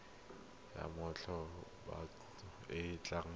ya mmatla botshabelo e tla